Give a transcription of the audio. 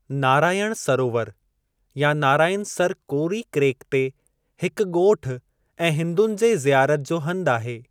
नारायण सरोवरु या नाराइनसर कोरी क्रैक ते हिकु ॻोठ ऐं हिन्दुनि जे ज़ियारत जो हंधि आहे।